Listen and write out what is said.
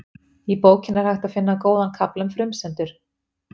í bókinni er hægt að finna góðan kafla um frumsendur